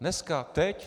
Dneska, teď.